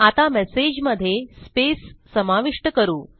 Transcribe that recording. आता मेसेजमध्ये स्पेस समाविष्ट करू